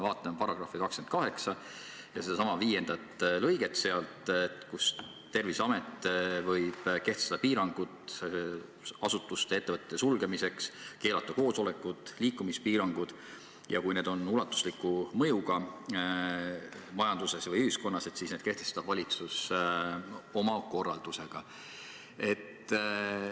Vaatame § 28 sedasama viiendat lõiget, mille kohaselt Terviseamet võib kehtestada piirangud asutuste ja ettevõtete sulgemiseks, keelata koosolekud, kehtestada liikumispiirangud, ja kui need on ulatusliku mõjuga majandusele või ühiskonnale, siis need kehtestab valitsus oma korraldusega.